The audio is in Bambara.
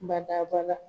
Badabada